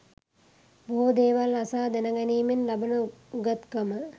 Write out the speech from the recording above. බොහෝ දේවල් අසා දැනගැනීමෙන් ලබන උගත්කම